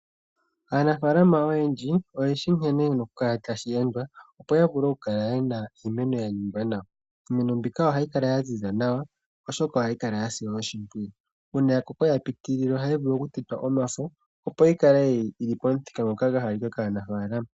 Aanafalama oyendji oye shi nkene yena oku kala tashi endwa opo ya vule oku kala yena iimeno ya ningwa nawa. Iimeno mbika ohayi kala ya ziza nawa oshoka ohayi kala ya silwa oshimpwiyu. Uuna ya koko yapitilile oha yi vulu oku tetwa omafo opo yi kale yili pamuthika ngoka gwa halika kaanafalama.